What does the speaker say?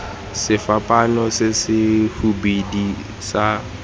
sefapaano se se hubedu sa